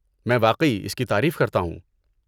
میں واقعی اس کی تعریف کرتا ہوں۔